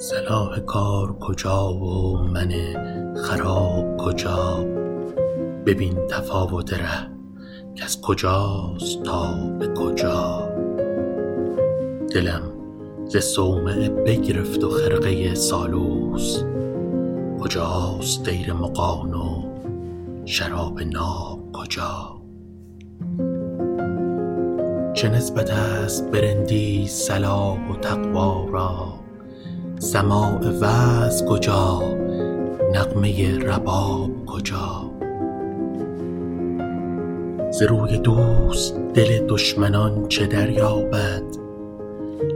صلاح کار کجا و من خراب کجا ببین تفاوت ره کز کجاست تا به کجا دلم ز صومعه بگرفت و خرقه سالوس کجاست دیر مغان و شراب ناب کجا چه نسبت است به رندی صلاح و تقوا را سماع وعظ کجا نغمه رباب کجا ز روی دوست دل دشمنان چه دریابد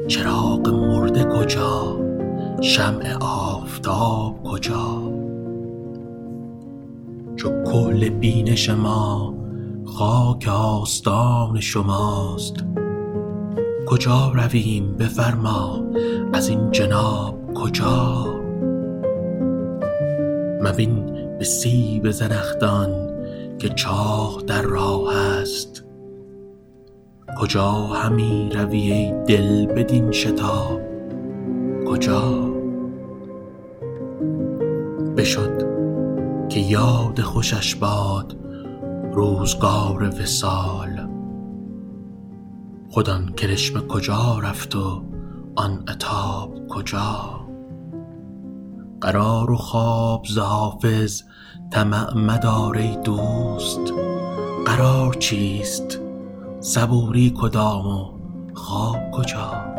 چراغ مرده کجا شمع آفتاب کجا چو کحل بینش ما خاک آستان شماست کجا رویم بفرما ازین جناب کجا مبین به سیب زنخدان که چاه در راه است کجا همی روی ای دل بدین شتاب کجا بشد که یاد خوشش باد روزگار وصال خود آن کرشمه کجا رفت و آن عتاب کجا قرار و خواب ز حافظ طمع مدار ای دوست قرار چیست صبوری کدام و خواب کجا